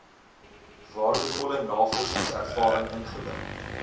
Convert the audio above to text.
waardevolle navorsingservaring ingewin